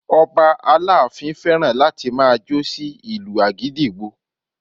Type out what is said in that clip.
Ọba aláàfin fẹ́ràn láti máa jó sí ìlu àgídìgbo